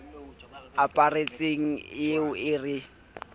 aparetseng e ye e re